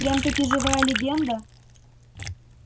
прям-таки живая легенда